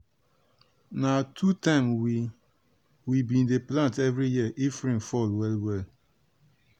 na two time we we bin dey plant every year if rain fall well well.